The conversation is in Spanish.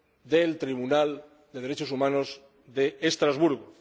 del Tribunal de Derechos Humanos de Estrasburgo